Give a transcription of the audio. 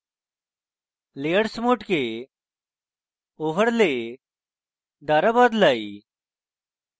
layers mode overlay দ্বারা বদলাই